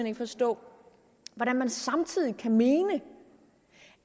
ikke forstå hvordan man samtidig kan mene